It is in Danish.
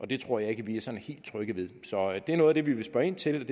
det tror jeg ikke at vi er sådan helt trygge ved det er noget af det vi vil spørge ind til